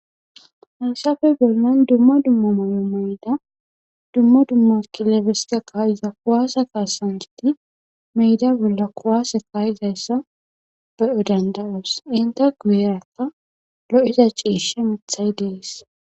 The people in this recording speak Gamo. hansafe bollan dumma dumma mayo mayda dumma dumma kiloabestaka iza kuwaasa kaasanti meyda bolla kowaase kaayizayssa be7o dandaras inte guyeraka lo7ida ciishe mithay dees